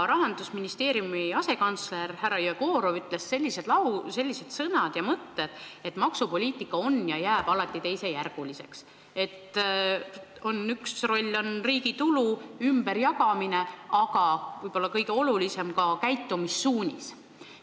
Rahandusministeeriumi asekantsler härra Jegorov ütles sellise mõtte, et maksupoliitika on teisejärguline ja jääb alati teisejärguliseks, et selle üks roll on riigi tulu ümberjagamine, aga võib-olla kõige olulisem on ta käitumissuunisena.